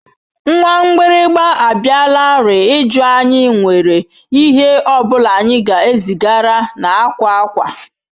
Nwa mgbịrịgba abịalarị ịjụ anyị nwere ihe ọ bụla anyị ga-ezigara na akwa akwa.